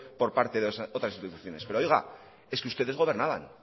por parte de otras instituciones pero oiga es que ustedes gobernaban